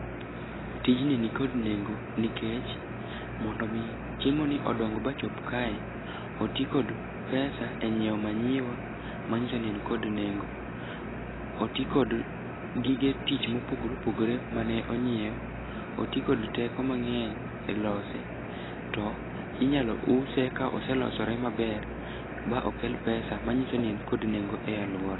Tijni nikod nengo nikech mondo omi chiemoni odong ba ochop kae, oti kod pesa e nyiewo manyiwa, mang'iso ni en kod nengo. Oti kod gige tich mopogore opogore mane onyiew. Oti kod teko mang'eny e lose. To inyalo use ka ose losore maber, ba okel pesa manyiso ni en kod nengo e alwora.